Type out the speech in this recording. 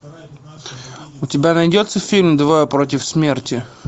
у тебя найдется фильм двое против смерти